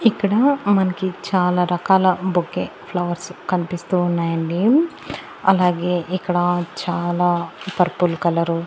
ఇక్కడ మనకి చాల రకాల బొకే ఫ్లవర్స్ కన్పిస్తూ ఉన్నాయండి అలగే ఇక్కడ చాలా పర్పుల్ కలరు --